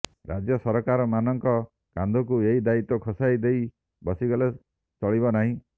ରାଜ୍ୟ ସରକାରମାନଙ୍କ କାନ୍ଧକୁ ଏଇ ଦାୟିତ୍ବ ଖସାଇ ଦେଇ ବସିଗଲେ ଚଳିବ ନାହିଁ